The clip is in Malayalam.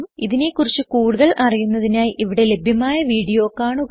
ഇതിനെ കുറിച്ച് കൂടുതൽ അറിയുന്നതിനായി ഇവിടെ ലഭ്യമായ വീഡിയോ കാണുക